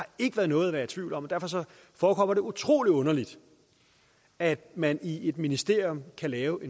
ikke været noget at være i tvivl om derfor forekommer det utrolig underligt at man i et ministerium kan lave